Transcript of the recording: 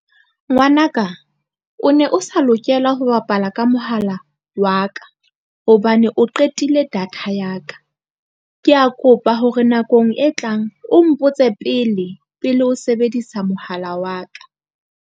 Ngwanaka o ne o sa lokela ho bapala ka mohala wa ka hobane o qetile data ya ka. Ke a kopa hore nakong e tlang o mpotse pele pele o sebedisa mohala wa ka.